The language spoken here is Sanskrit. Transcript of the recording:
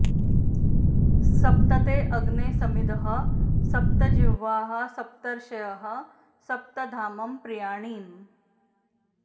स॒प्त ते॑ अग्ने स॒मिधः॑ स॒प्त जि॒ह्वाः स॒प्तर्ष॑यः स॒प्त धाम॑ प्रि॒याणि॑